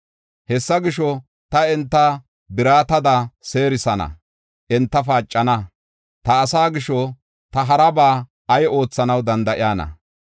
“Hessa gisho, ta enta biratada seerisana; enta paacana. Ta asaa gisho, ta haraba ay oothanaw danda7iyana?